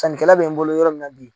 Sannikɛla bɛ n bolo yɔrɔ min na bi